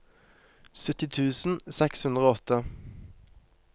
sytti tusen seks hundre og åtte